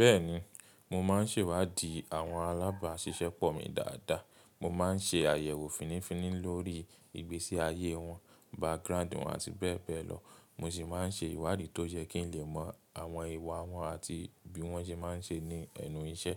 Bẹ́ẹ̀ni, mo má ń sèwáàdí àwọn alágbàṣiṣẹ́pọ̀ mi dáadáa. Mo ma ń se àyẹ̀wò fínníífínní lórí ìgbésíayé wọn, background wọn àti bẹ́ẹ̀ bẹ́ẹ̀ lọ, mo sì ma ń se ìwádìí tó jẹ́ kí n lè mọ àwọn ìwà wọn àti bí wọ́n ṣe má ń ṣe ní ẹnu iṣẹ́.